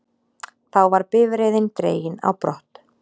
Þá var bifreiðin dregin á brott